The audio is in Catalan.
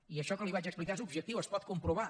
i això que li vaig explicar és objectiu és pot comprovar